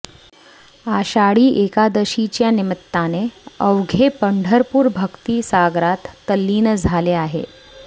आषाढी एकादशीच्या निमित्ताने अवघे पंढरपुर भक्ती सागरात तल्लीन झाले आहे